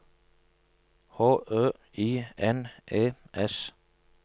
H Ø I N E S